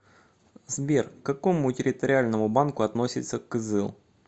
сбер к какому территориальному банку относится кызыл